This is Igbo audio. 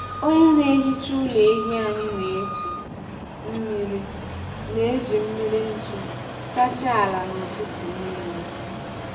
Onye na-ehicha ụlọ ehi anyị na-eji mmiri na-eji mmiri ntu sachaa ala na ụtụtụ nile.